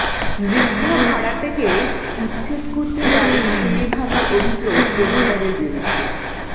বৃদ্ধা ভাড়াটেকে উচ্ছেদ করতে বাড়ির সিঁড়ি ভাঙার অভিযোগ প্রোমোটারের বিরুদ্ধে